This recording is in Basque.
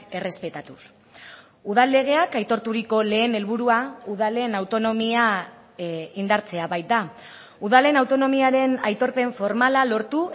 errespetatuz udal legeak aitorturiko lehen helburua udalen autonomia indartzea baita udalen autonomiaren aitorpen formala lortu